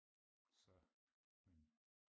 så men